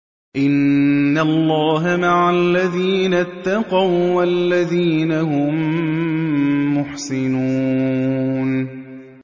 إِنَّ اللَّهَ مَعَ الَّذِينَ اتَّقَوا وَّالَّذِينَ هُم مُّحْسِنُونَ